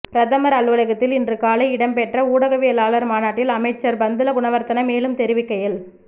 பிரதமர் அலுவலகத்தில் இன்று காலை இடம்பெற்ற ஊடகவியலாளர் மாநாட்டில் அமைச்சர் பந்துல குணவர்த்தன மேலும் தெரிவிக்கையில்